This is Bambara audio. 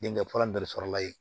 Denkɛ falan dɔ de sɔrɔ la yen